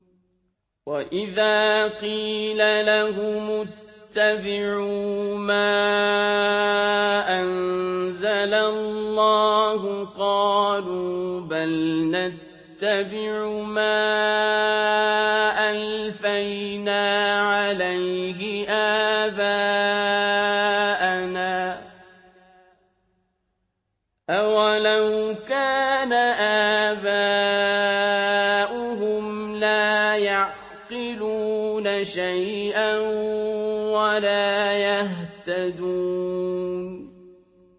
وَإِذَا قِيلَ لَهُمُ اتَّبِعُوا مَا أَنزَلَ اللَّهُ قَالُوا بَلْ نَتَّبِعُ مَا أَلْفَيْنَا عَلَيْهِ آبَاءَنَا ۗ أَوَلَوْ كَانَ آبَاؤُهُمْ لَا يَعْقِلُونَ شَيْئًا وَلَا يَهْتَدُونَ